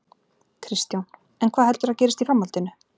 Kristján: En hvað heldurðu að gerist í framhaldinu?